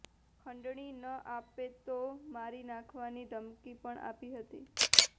ખંડણી ન આપે તો મારી નાખવાની ધમકી પણ આપી હતી